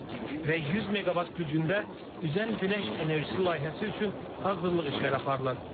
Və 100 meqavat gücündə üzən günəş enerjisi layihəsi üçün hazırlıq işləri aparılır.